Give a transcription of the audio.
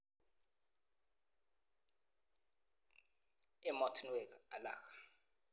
Emotinwek alak